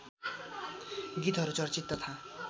गीतहरू चर्चित तथा